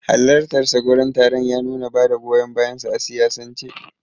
Halartarsa gurin taron ya nuna bada goyon bayansa a siyasance.